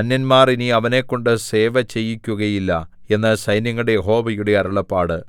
അന്യന്മാർ ഇനി അവനെക്കൊണ്ടു സേവ ചെയ്യിക്കുകയുമില്ല എന്ന് സൈന്യങ്ങളുടെ യഹോവയുടെ അരുളപ്പാട്